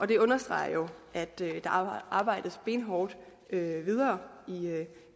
det understreger jo at der arbejdes benhårdt videre